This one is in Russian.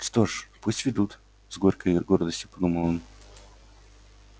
что ж пусть ведут с горькой гордостью подумал он